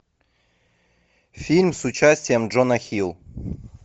фильм с участием джона хилл